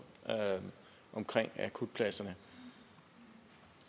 om akutpladserne